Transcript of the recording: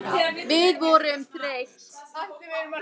Við vorum þreytt.